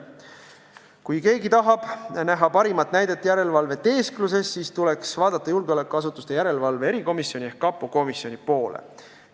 Kui keegi tahab parimat näidet järelevalveteeskluse kohta, siis tuleks vaadata julgeolekuasutuste järelevalve erikomisjoni ehk kapo komisjoni poole.